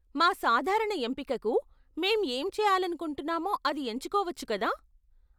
మా సాధారణ ఎంపికకు మేము ఏం చేయాలనుకుంటున్నామో అది ఎంచుకోవచ్చు, కదా?